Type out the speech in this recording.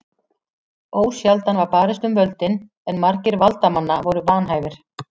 Ósjaldan var barist um völdin en margir valdamanna voru vanhæfir.